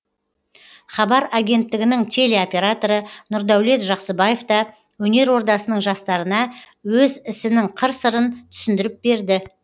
хабар агенттігінің телеоператоры нұрдәулет жақсыбаев та өнер ордасының жастарына өз ісінің қыр сырын түсіндіріп берді